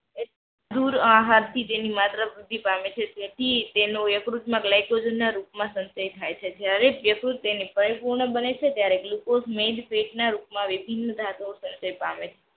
ગૃહ્યહાર થી તેની માત્રા વૃદ્ધિ પામે છે તેથી તેનું યકૃત માં ગ્લાયકોજન ના રૂપ માં સંદેહ થાય છે જ્યારે યકૃત તેની પરિપૂર્ણ બને છે ત્યારે ગ્લુકોઝ main ફેટ ના રૂપ માં વિભિન્ન ધાતુઓ માં સર્જન પામે છે.